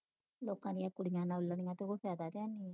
ਲੋਕਾਂ ਦੀਆਂ ਕੁੜੀਆਂ ਨਾਲ ਲੜੀਆਂ ਉਹ ਫਾਇਦਾ ਹੈਨੀ